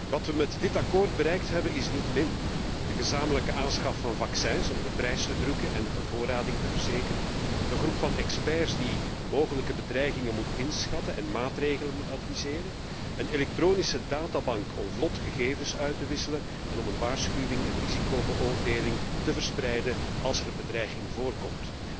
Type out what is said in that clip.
Wat we met dit akkoord bereikt hebben, is niet min de gezamenlijke aanschaf van vaccins om de prijs te drukken en de bevoorrading te verzekeren, een groep van experts die mogelijke bedreigingen moet inschatten en maatregelen moet adviseren, een elektronische databank om vlot gegevens uit te wisselen en om een waarschuwing en risicobeoordeling te verspreiden als er zich een bedreiging voordoet.